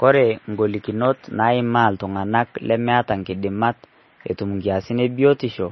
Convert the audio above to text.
kore ngolikinot naimaa ltunganak lemeata nkidimat etum nkiasin ee biotisho